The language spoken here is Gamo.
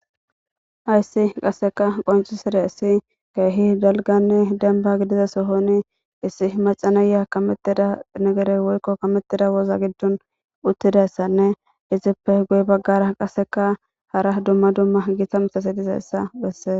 Hayissi qasika qoncidayisi kehi gitanne dalganne demba gidiza sohon Mac,a nayi kametida waza gidon utidayisanne izippe guye bagara hara duma duma gita mitati dizayisa besea